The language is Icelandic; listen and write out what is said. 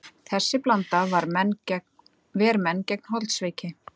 Þessi blanda ver menn gegn holdsveiki.